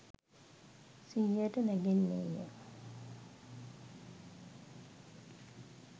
සිහියට නැගෙන්නේ ය.